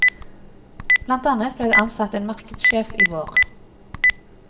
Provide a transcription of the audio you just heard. Blant annet ble det ansatt en markedssjef i vår.